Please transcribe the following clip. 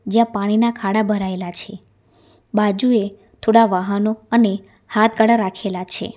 જ્યાં પાણીના ખાડા ભરાયેલા છે બાજુએ થોડા વાહનો અને હાથગાડા રાખેલા છે.